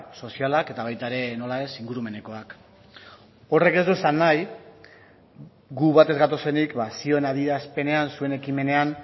sozialak eta baita ere nola ez ingurumenekoak horrek ez du esan nahi gu bat ez gatozenik zioen adierazpenean zuen ekimenean